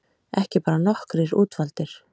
Ekki bara nokkrir útvaldir